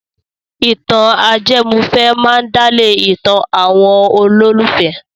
Ìtàn ajẹmọ́fẹ̀ẹ́ máa ń dálé ìtàn àwọn olólùfẹ́.